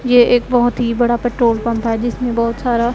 ये एक बहोत ही बड़ा पेट्रोल पंप है जिसमें बहोत सारा--